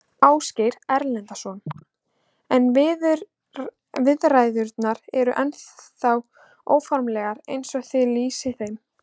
Ásgeir Erlendsson: En viðræðurnar eru ennþá óformlegar eins og þið lýsið þeim?